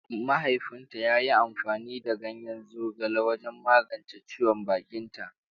Mahaifinta ya yi amfani da ganyen zogale wajen magance ciwon bakinta.